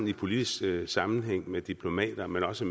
de politiske sammenhænge med diplomater men også